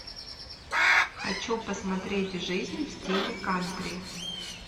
хочу посмотреть жизнь в стиле кантри